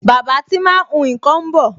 Bàbá tí máa ń hun nkan ń bọ̀